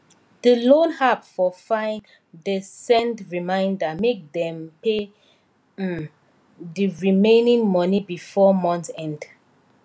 d loan app for fine de send reminder make dem pay um the remaining money before month end